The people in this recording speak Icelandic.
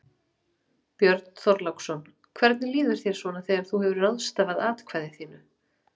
Björn Þorláksson: Hvernig líður þér svona þegar þú hefur ráðstafað atkvæði þínu?